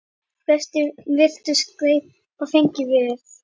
Flestir virtust gleypa fegnir við.